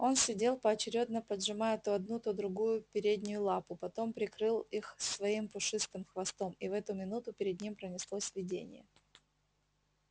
он сидел поочерёдно поджимая то одну то другую переднюю лапу потом прикрыл их своим пушистым хвостом и в эту минуту перед ним пронеслось видение